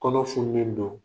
Kɔnɔ fununnen do.